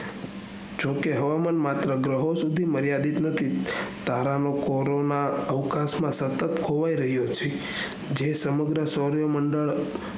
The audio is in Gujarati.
જો કે હવામાંન માત્ર ગ્રહો સુધી માર્યાદિત નથી તારા ના ખોળામાં સતત ખોવાય રહ્યો છે જે સમગ્ર શોર્ય મંડળ